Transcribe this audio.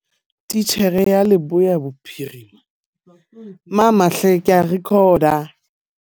Titjhere ya Leboya Bophirima, Tshepo Kekana o re, ha se baithuti bohle ba nang le ditlhoko tse ikgethileng ba hlokang ho kena dikolo tsa phodiso kapa tsa ditlhoko tse ikgethileng.